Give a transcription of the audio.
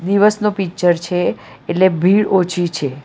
દિવસનો પિક્ચર છે એટલે ભીળ ઓછી છે.